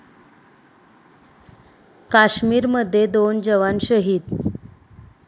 काश्मीरमध्ये दोन जवान शहीद